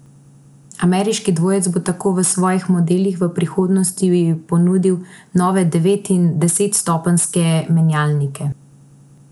Ameriški dvojec bo tako v svojih modelih v prihodnosti ponudil nove devet in desetstopenjske menjalnike.